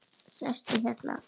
Sestu hérna.